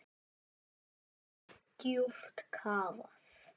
Djúpt kafað.